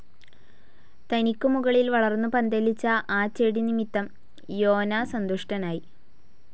തനിക്കു മുകളിൽ വളർന്നു പന്തലിച്ച ആ ചെടി നിമിത്തം യോനാ സന്തുഷ്ടനായി.